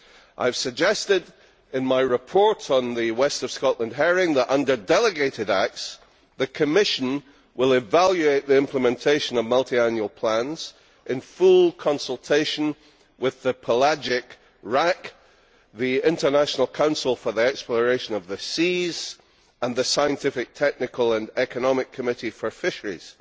I have suggested in my report on west of Scotland herring that, via delegated acts, the Commission will evaluate the implementation of multi annual plans in full consultation with the Pelagic RAC, the International Council for the Exploration of the Seas and the Scientific Technical and Economic Committee for Fisheries.